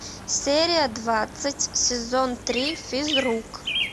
серия двадцать сезон три физрук